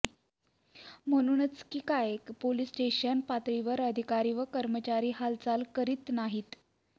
म्हणूनच कि काय पोलीस स्टेशन पातळीवर अधिकारी व कर्मचारी हालचाल करीत नाहीत